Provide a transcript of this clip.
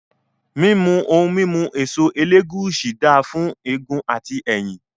Mímu ohun mímu èso ẹlẹ́gùúsí dáà fún egun àti ẹ̀yìn